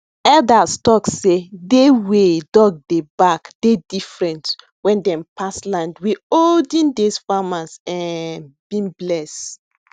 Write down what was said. elders talk sey day way dog dey bark dey different wen dem pass land wey olden days farmers um bin bless